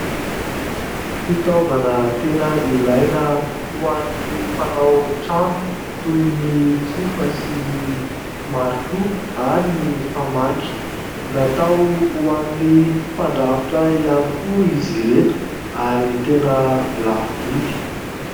Fitaovana tena ilaina ho an'ny mpanao trano, toy ny tsofa sy ny marito ary ny famaky. Natao ho an'ny mpandrafitra ihany koa izy ireto, ary tena lafo vidy.